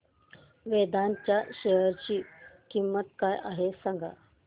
वेदांत च्या शेअर ची किंमत काय आहे सांगा